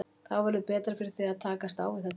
Þá verður betra fyrir þig að takast á við þetta mál.